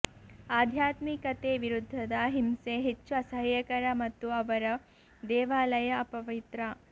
ಆಧ್ಯಾತ್ಮಿಕತೆ ವಿರುದ್ಧದ ಹಿಂಸೆ ಹೆಚ್ಚು ಅಸಹ್ಯಕರ ಮತ್ತು ಅವರು ದೇವಾಲಯ ಅಪವಿತ್ರ